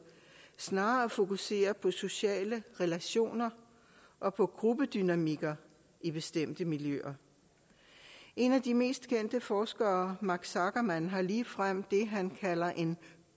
snarere at fokusere på sociale relationer og på gruppedynamikker i bestemte miljøer en af de mest kendte forskere marc sageman har ligefrem det han kalder en